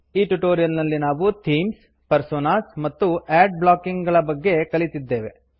ಈ ಟ್ಯುಟೋರಿಯಲ್ನಲ್ಲಿ ನಾವು ಥೀಮ್ಸ್ ಪರ್ಸೋನಾಸ್ ಮತ್ತು ಆಡ್ ಬ್ಲಾಕಿಂಗ್ ಗಳ ಬಗ್ಗೆ ಕಲಿತಿದ್ದೇವೆ